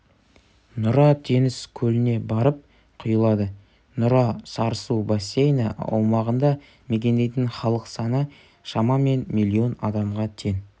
нұра теңіз көліне барып құйылады нұра-сарысу бассейні аумағында мекендейтін халық саны шамамен миллион адамға тең